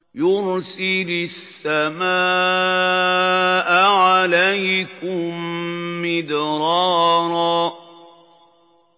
يُرْسِلِ السَّمَاءَ عَلَيْكُم مِّدْرَارًا